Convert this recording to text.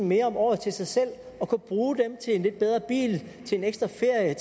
mere om året til sig selv og kunne bruge dem til en lidt bedre bil en ekstra ferie